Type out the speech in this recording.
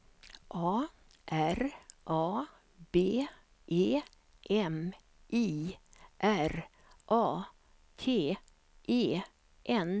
A R A B E M I R A T E N